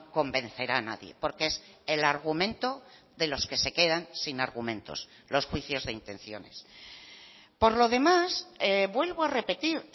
convencerá a nadie porque es el argumento de los que se quedan sin argumentos los juicios de intenciones por lo demás vuelvo a repetir